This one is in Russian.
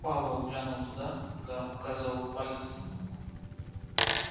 пауэлл глянул туда куда указывал палец донована